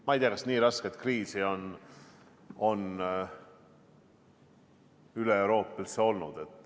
Ma ei tea, kas nii rasket kriisi on üleeuroopaliselt üldse olnud.